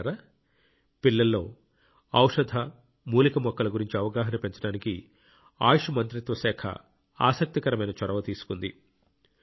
మిత్రులారా పిల్లల్లో ఔషధ మూలికా మొక్కల గురించి అవగాహన పెంచడానికి ఆయుష్ మంత్రిత్వ శాఖ ఆసక్తికరమైన చొరవ తీసుకుంది